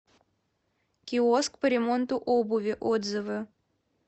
киоск по ремонту обуви отзывы